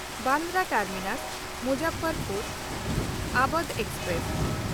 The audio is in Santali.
ᱵᱟᱱᱫᱨᱟ ᱴᱟᱨᱢᱤᱱᱟᱥ–ᱢᱩᱡᱽᱟᱯᱷᱚᱨᱯᱩᱨ ᱟᱣᱚᱫᱷ ᱮᱠᱥᱯᱨᱮᱥ